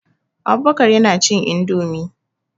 Abubakar yana cin indomie.